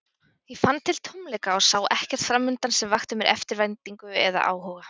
Ég fann til tómleika og sá ekkert framundan sem vakti mér eftirvæntingu eða áhuga.